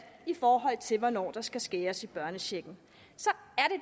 i forhold til hvornår der skal skæres i børnechecken så